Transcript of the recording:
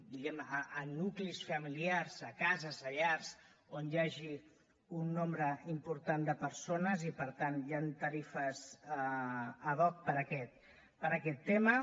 diguem ne a nuclis familiars a cases a llars on hi hagi un nombre important de persones i per tant hi han tarifes ad hoc per aquest tema